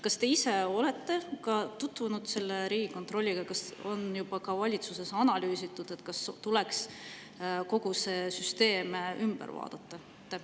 Kas te ise olete tutvunud selle Riigikontrolli ja kas on juba ka valitsuses analüüsitud, kas tuleks kogu see süsteem ümber vaadata?